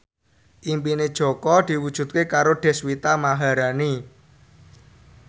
impine Jaka diwujudke karo Deswita Maharani